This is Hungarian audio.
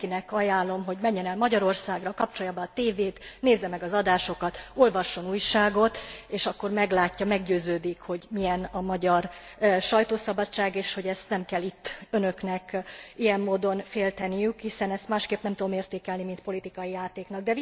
Mindenkinek ajánlom, hogy menjen el Magyarországra, kapcsolja be a TV t, nézze meg az adásokat, olvasson újságot, és akkor meglátja, meggyőződik, hogy milyen a magyar sajtószabadság, és hogy ezt nem kell itt Önöknek ilyen módon félteniük, hiszen ezt másként nem tudom értékelni, mint politikai játéknak.